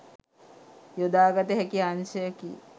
යොදාගත හැකි අංශයකි.